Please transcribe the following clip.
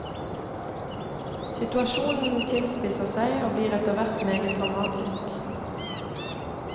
Situasjonen tilspisser seg og blir etter hvert meget dramatisk.